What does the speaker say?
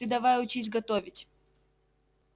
ты давай учись готовить